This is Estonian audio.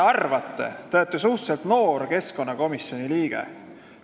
Te olete suhteliselt noor keskkonnakomisjoni liige.